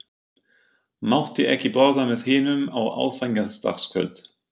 Mátti ekki borða með hinum á aðfangadagskvöld.